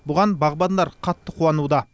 бұған бағбандар қатты қуануда